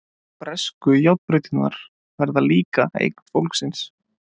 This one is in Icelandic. Bresku járnbrautirnar verða líka eign fólksins.